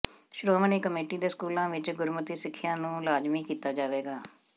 Shiromani committee ਦੇ ਸਕੂਲਾਂ ਵਿਚ ਗੁਰਮਤਿ ਸਿੱਖਿਆ ਨੂੰ ਲਾਜਮੀ ਕੀਤਾ ਜਾਵੇਗਾ